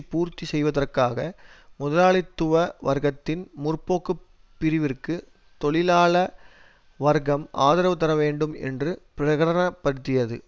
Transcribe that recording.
பூர்த்தி செய்வதற்காக முதலாளித்துவ வர்க்கத்தின் முற்போக்கு பிரிவிற்கு தொழிலாள வர்க்கம் ஆதரவு தர வேண்டும் என்று பிரகடனப்படுத்தியது